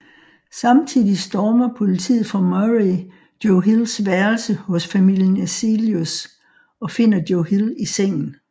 Samtidigt stormer politiet fra Murray Joe Hills værelse hos familien Eselius og finder Joe Hill i sengen